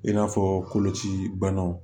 I n'a fɔ koloci banaw